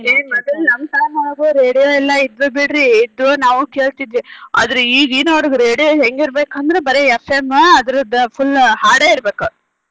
ಏ ಮೊದಲ್ ನಮ್ಮ್ time ಒಳಗು radio ಎಲ್ಲಾ ಇದ್ದು ಬಿಡ್ರಿ ಇದ್ದು ನಾವು ಕೇಳ್ತಿದ್ವಿ ಆದ್ರೆ ಈಗಿನಾವ್ರಿಗ radio ಹೆಂಗ್ ಇರ್ಬೇಕಂದ್ರ ಬರೇ FM ಅದೃದ್ದ್ full ಹಾಡೆ ಇರ್ಬೆಕ.